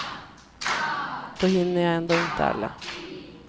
Då hinner jag ändå inte alla.